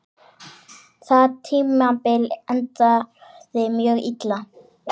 Það tímabil endaði mjög illa.